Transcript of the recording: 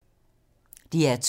DR2